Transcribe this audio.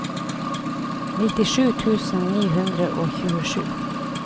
nittisju tusen ni hundre og tjuesju